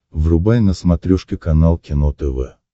врубай на смотрешке канал кино тв